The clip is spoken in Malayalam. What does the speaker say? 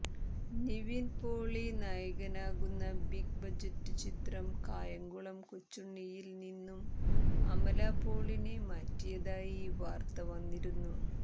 നിവിൻ പോളി നായകനാകുന്ന ബിഗ് ബജറ്റ് ചിത്രം കായംകുളം കൊച്ചുണ്ണിയിൽ നിന്നും അമല പോളിനെ മാറ്റിയതായി വാർത്ത വന്നിരുന്നു